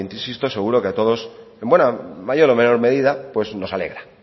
insisto seguro que a todos en buena mayor o menor medida pues nos alegra